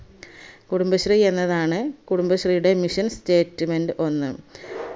കുടുബശ്രീ എന്നതാണ് കുടുബശ്രീയുടെ mission statement ഒന്ന്